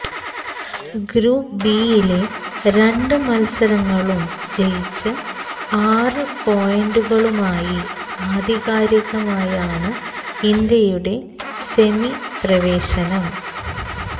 group ബിയിലെ രണ്ട് മത്സരങ്ങളും ജയിച്ച് ആറ് പോയിന്റുകളുമായി ആധികാരികമായാണ് ഇന്ത്യയുടെ സെമി പ്രവേശനം